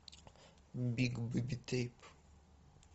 биг бейби тейп